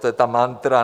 To je ta mantra...